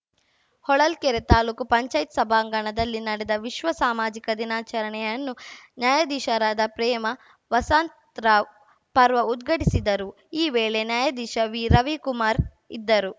ಹೊಳಲ್ಕೆರೆ ತಾಲೂಕು ಪಂಚಾಯ್ತಿ ಸಭಾಂಗಣದಲ್ಲಿ ನಡೆದ ವಿಶ್ವ ಸಾಮಾಜಿಕ ದಿನಾಚರಣೆಯನ್ನು ನ್ಯಾಯಾಧೀಶರಾದ ಪ್ರೇಮಾ ವಸಂತರಾವ್‌ ಪರ್ವಾ ಉದ್ಘಾಟಿಸಿದರು ಈ ವೇಳೆ ನ್ಯಾಯಾಧೀಶ ವಿರವಿಕುಮಾರ್‌ ಇದ್ದರು